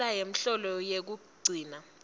nentsela yemholo yekugcina